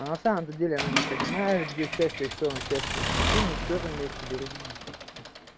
а на самом-то деле она не понимает где счастье и что оно счастье прикинь на четвёртом месяце беременной